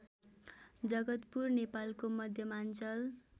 जगतपुर नेपालको मध्यमाञ्चल